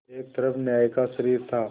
एक तरफ न्याय का शरीर था